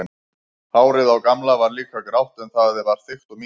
Hárið á Gamla var líka grátt en það var þykkt og mikið.